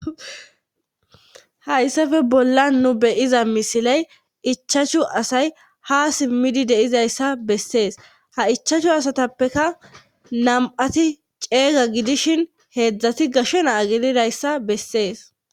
hayssafe bolla nu beyiza misiley ichachu asay ha simmidi deizayssa bessees ha ichachu asatappeka nam7ati ceeyga gidishin heedzdzati gashe naa gelidayssa bessees